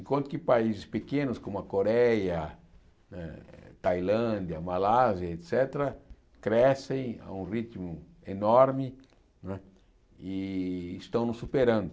Enquanto que países pequenos como a Coreia, eh Tailândia, Malásia, et cétera, crescem a um ritmo enorme não é e estão nos superando.